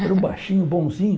Era um baixinho, bonzinho.